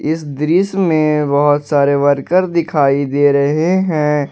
इस दृश्य में बहोत सारे वर्कर दिखाई दे रहे हैं।